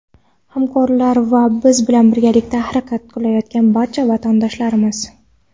hamkorlar va biz bilan birgalikda harakat qilayotgan barcha vatandoshlarimiz!.